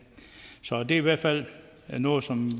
så det er i hvert fald noget som